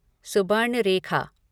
Subarnarekha